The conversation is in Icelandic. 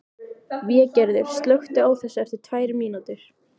Végerður, slökktu á þessu eftir tvær mínútur.